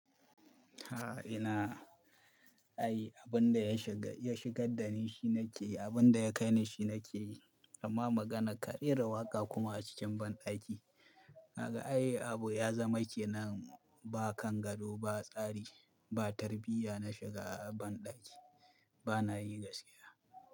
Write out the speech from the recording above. A'a ina, ai abin da ya shiga, ya shigar da ni shi nake yi, abin da ya kai ni shi nake yi. Amma magana ka raira waka kuma a cikin banɗaki. Naga ai Abu ya zama kenan ba kan gado ba tsari ba tarbiyya na shiga banɗaki bana yi gaskiya.